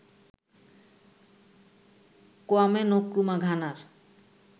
Kwame Nkrumah ঘানার